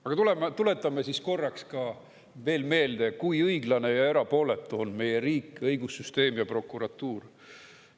Aga tuletame siis korraks veel meelde, kui õiglane ja erapooletu on meie riik, õigussüsteem ja prokuratuur.